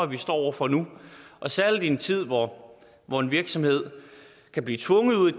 vi står over for nu og særlig i en tid hvor hvor en virksomhed kan blive tvunget ud i